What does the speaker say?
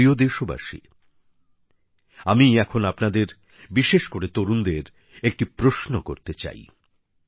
আমার প্রিয় দেশবাসী আমি এখন আপনাদের বিশেষ করে তরুণদের একটি প্রশ্ন করতে চাই